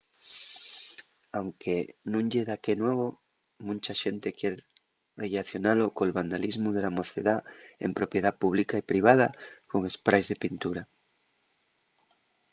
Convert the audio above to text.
anque nun ye daqué nuevo muncha xente quier rellacionalo col vandalismu de la mocedá en propiedá pública y privada con espráis de pintura